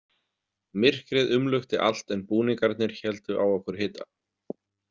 Myrkrið umlukti allt en búningarnir héldu á okkur hita.